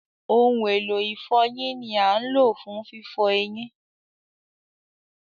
Ohun elo ifọyin ni a ń lo fun fifọ eyin.